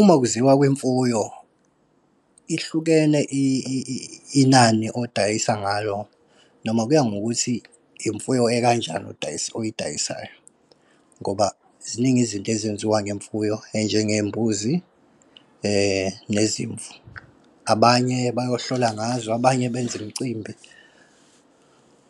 Uma kuziwa kwimfuyo, ihlukene inani odayisa ngalo, noma kuya ngokuthi imfuyo ekanjani oyidayisayo. Ngoba ziningi izinto ezenziwa ngemfuyo, enjengey'mbuzi nezimvu. Abanye bayohlola ngazo, abanye benze imcimbi,